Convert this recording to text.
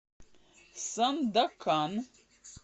сандакан